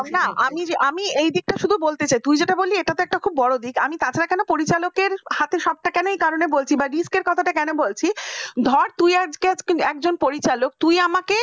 আমি এ দিকটা শুধু বলতে চাই তুই যেটা বললি এটা খুব বড় দিক আমি তাছাড়া কেন পরিচালকের সবটা আমি কি কারনে বলছি বা risk বা risk র কথাটা কেন বলছি ধর তুই আজকে একজন পরিচালক তুই আমাকে